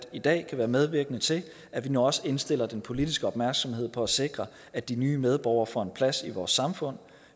i dag kan være medvirkende til at vi nu også indstiller den politiske opmærksomhed på at sikre at de nye medborgere får en plads i vores samfund og